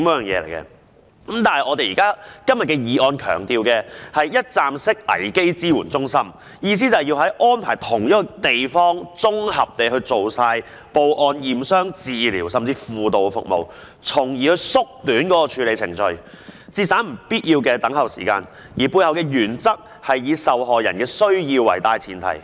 然而，今天的議案強調的是一站式危機支援中心，意思是要安排在同一地點綜合地進行報案、驗傷、治療甚至輔導服務，從而縮短處理程序，節省不必要的等候時間，而背後的原則是以受害人的需要為大前提。